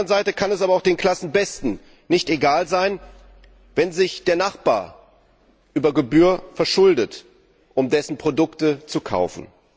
Auf der anderen Seite kann es aber auch den Klassenbesten nicht egal sein, wenn sich der Nachbar über Gebühr verschuldet, um dessen Produkte zu kaufen.